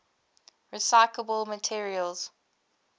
recyclable materials